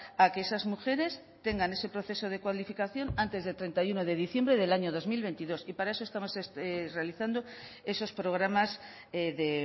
a que esas mujeres tengan ese proceso de cualificación antes del treinta y uno de diciembre del año dos mil veintidós y para eso estamos realizando esos programas de